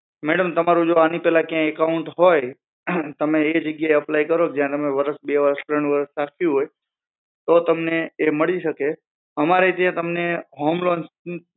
madam જો તમારું આની પેલા ક્યાંય account હોય તો તમે એ જગ્યા એ apply કરો જ્યાં તમે વરસ બે વરસ રાખ્યું હોય તો તમને એ મળી શકે અમારે ત્યાં તમને home loan